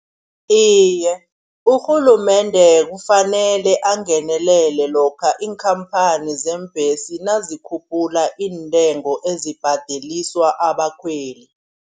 Iye urhulumende kufanele angenelele lokha iinkhamphani zeembhesi nazikhuphula intengo ezibhadeliswa abakhweli.